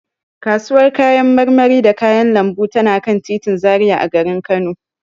Kasuwar kayan marmari da kayan lambu tana kan titin Zaria a garin Kano.